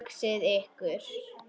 Hugsið ykkur!